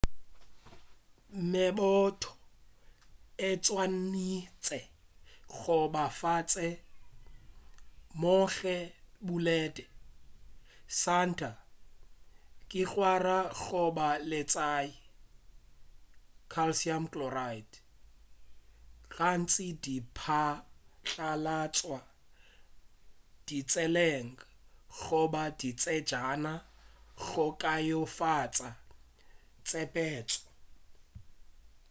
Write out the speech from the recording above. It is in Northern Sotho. meboto e swanetše go ba fase gomme e bulede. santa lekgwara goba letswai calcium chloride gantši di patlalatšwa ditseleng goba ditsejana go kaonafatša tsepetšo